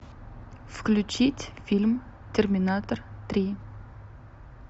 включить фильм терминатор три